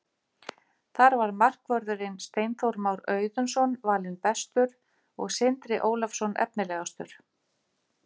Þar var markvörðurinn Steinþór Már Auðunsson valinn bestur og Sindri Ólafsson efnilegastur.